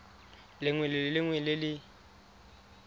lengwe le lengwe le le